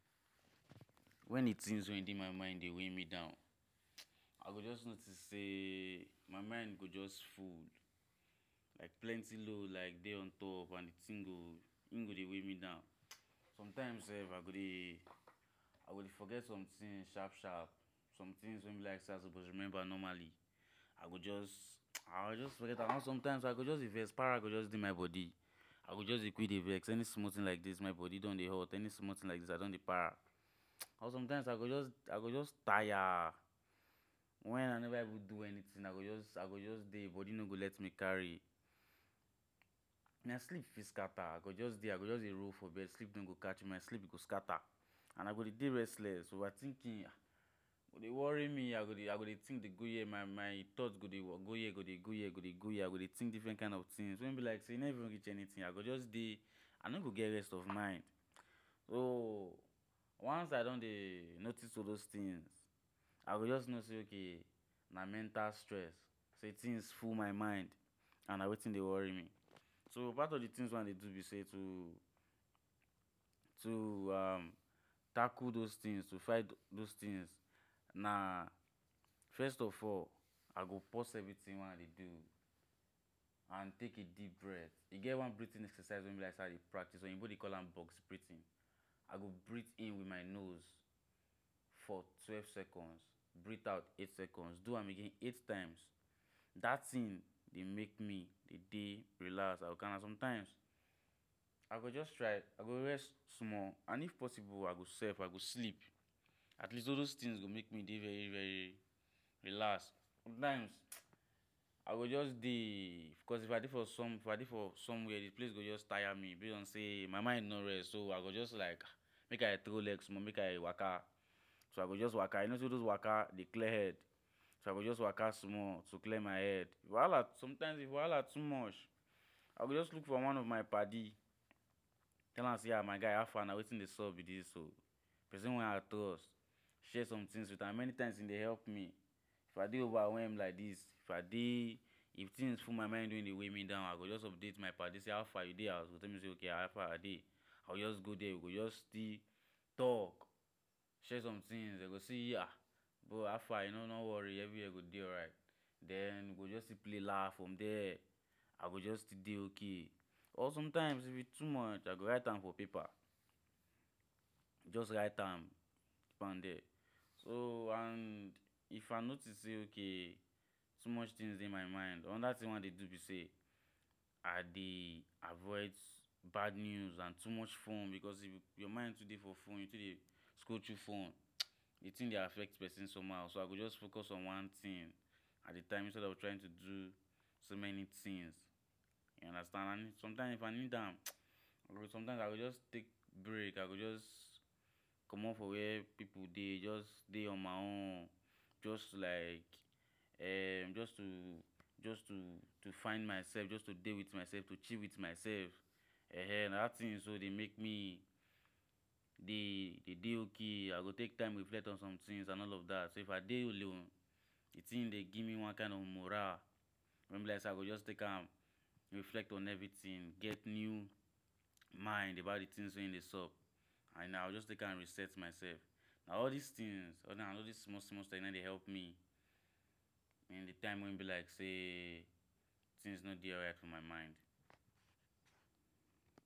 When the things wey dey my mind dey weigh me down, [hissing]I go just notice sey my mind go just full Like pleny load like dey on top, and the thing go im go dey wey me down [hissing] sometime self I go dey I go dey forget some things sharp-sharp, some things wey I suppose remember normally I go just [hissing] I go just forget am, sometimes I go just dey vex para go just dey my body I go just dey quick dey vex, any small thing like this my body don dey hot, any small thing I don dey para [hissing]But sometimes I go just I go just tire, when I never even do anything I go just i go just dey body no go let me carry My sleep fit scatter I go just dey, I go just dey roll bed sleep no go catch me my sleep go scatter and I go dey restless over thinking go dey worry me I go dey I go dey think dey go here, my my thought go dey here go dey go here I go dey think difren kain of thing When e be sey eno even reach anything, I go just dey I no go get rest of mind oo, once I don dey notice all those things I go just no sey okay na mental stress Say thing full my mind and na wetin dey worry me So part of the things wey I dey do be sey too to [um]tackle dos things to fight dos things Na first of all, I go pause everything wey I dey do, And take I deep breath, I get e get one breathing exercise wey im be like say I dey practice oyibo dey call am box breathing I go breath in with my nose for twelve seconds breath out eight seconds do am again eight times That thing dey make me dey relax? sometimes, I go just try I go rest small and if possible I go self I go sleep at least all dos things go make me dey very-very relax Sometimes [hissing], I go just deey cause if I dey for some if I dey for somewhere the place go just tire me base on sey my mind no rest I go just like, make I trow leg small make I waka, so I go just waka You no sey all dos waka dey clear head, so I go just waka small to clear my head Wahala t sometimes if wahala too much, I go just look for one of my padi Tell am sey my guy howfa na wetin dey sup be dis o Pesin wey I trust, share some things with am, many times e dey help me If I dey overwhelm like this, if I deey if things full my mind wey dey weigh me down I go just update my padi sey howfa you dey house? E go tell me say ok howfa I dey, I go just go there we go just still talk, share some things Bro howfa you no, no worry everywhere go dey alright Then we go still play laugh from there I go just still dey okay or sometimes if e too much I go write am for paper Just write am keep am dia, so and if I notice say ok too much thing dey my mind another thing wey I dey do be say I dey avoid bad news and too much fone because if your mind too dey for fone, you too dey scroll through fone [hissing] the thing dey affect pesin somehow So igo just focus on one thing at a time instead of trying to do so many things you understand And sometimes if I need am, sometimes I go just take break, I go just comot for where pipu dey just dey on my own, just like hmm just to just to to find myself, just dey with myself, just to chill with myself En en na dat thing wey dey make me dey, dey de okay, I go take time reflect on some things and all of that If I dey alone, the thing dey give me one kind of morale, wey be like say I go just take am reflect on everything Get new mind about things wey dey sup and I go just use am reset myself Na all this things, na all dis small-small thing n aim dey help me in the time wey im be like say thing no dey alright for my mind